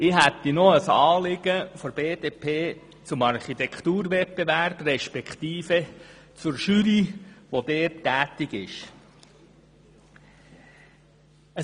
Ich habe noch ein Anliegen der BDP zum Architekturwettbewerb respektive zur Jury, die dort tätig wird.